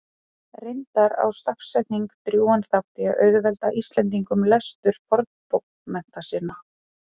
Hér eftir nota ég hugtakið pleistósentími í stað þess að tala um ísöldina.